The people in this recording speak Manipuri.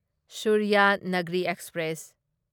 ꯁꯨꯔꯌꯥꯅꯒ꯭ꯔꯤ ꯑꯦꯛꯁꯄ꯭ꯔꯦꯁ